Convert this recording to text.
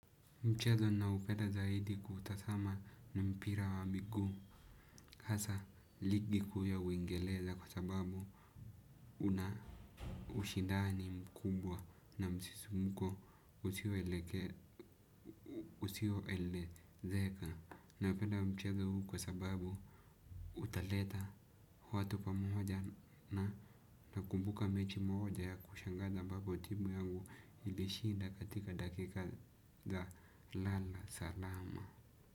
Mchezo ninaopeda zaidi kutazama ni mpira wa miguu. Hasa ligi kuu ya uingereza kwa sababu una ushindani mkubwa na msisumko usio eleke usio elezeka. Napeda mchezo huu kwa sababu utaleta watu pamoja na nakumbuka mechi moja ya kushangaza ambapo timu yangu ilishinda katika dakika za lala salama.